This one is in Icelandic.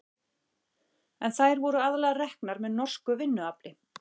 en þær voru aðallega reknar með norsku vinnuafli